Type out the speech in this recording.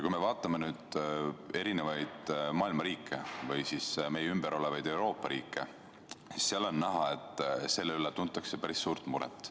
Kui me vaatame erinevaid maailma riike, sh ka meie ümber olevaid Euroopa riike, siis on näha, et selle üle tuntakse päris suurt muret.